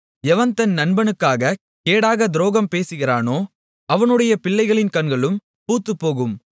எவன் தன் நண்பனுக்குக் கேடாகத் துரோகம் பேசுகிறானோ அவனுடைய பிள்ளைகளின் கண்களும் பூத்துப்போகும்